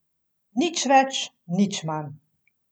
Nič več, nič manj.